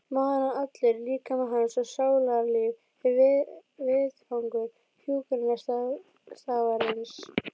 Maðurinn allur, líkami hans og sálarlíf er vettvangur hjúkrunarstarfsins.